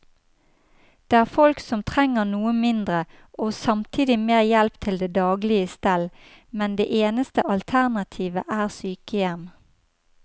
Det er folk som trenger noe mindre og samtidig mer hjelp til det daglige stell, men det eneste alternativet er sykehjem.